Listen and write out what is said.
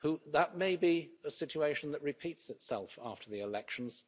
That may be a situation that repeats itself after the elections.